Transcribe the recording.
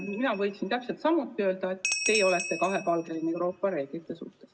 Mina võiksin täpselt samuti öelda, et teie olete kahepalgeline Euroopa reeglite suhtes.